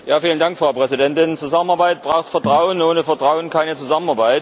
Frau Präsidentin! Zusammenarbeit braucht Vertrauen ohne Vertrauen keine Zusammenarbeit.